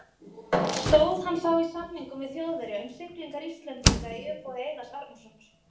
Stóð hann þá í samningum við Þjóðverja um siglingar Íslendinga í umboði Einars Arnórssonar.